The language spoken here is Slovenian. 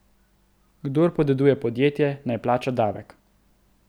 Kdor podeduje podjetje, naj plača davek.